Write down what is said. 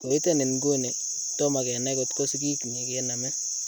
Koiten iguni, tomak kenany kotko sigiknyi kename